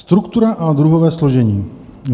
Struktura a druhové složení.